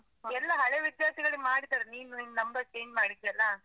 ಎಲ್ಲಾ ಹಳೆೇ ವಿದ್ಯಾರ್ಥಿಗಳಿಗ್ ಮಾಡಿದಾರೆ. ನೀನು ನಿನ್ನ್ number change ಮಾಡಿದ್ಯಲ್ಲ?